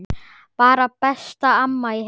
Bara besta amma í heimi.